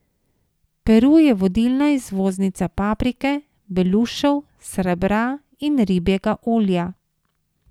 Peru je vodilna izvoznica paprike, belušev, srebra in ribjega olja.